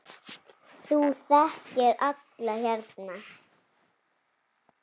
Þú þekkir alla hérna.